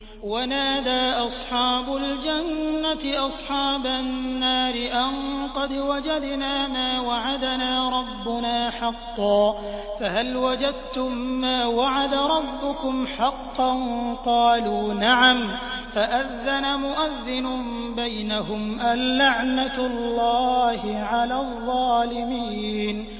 وَنَادَىٰ أَصْحَابُ الْجَنَّةِ أَصْحَابَ النَّارِ أَن قَدْ وَجَدْنَا مَا وَعَدَنَا رَبُّنَا حَقًّا فَهَلْ وَجَدتُّم مَّا وَعَدَ رَبُّكُمْ حَقًّا ۖ قَالُوا نَعَمْ ۚ فَأَذَّنَ مُؤَذِّنٌ بَيْنَهُمْ أَن لَّعْنَةُ اللَّهِ عَلَى الظَّالِمِينَ